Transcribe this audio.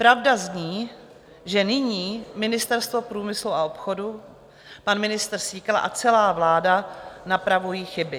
Pravda zní, že nyní Ministerstvo průmyslu a obchodu, pan ministr Síkela a celá vláda napravují chyby.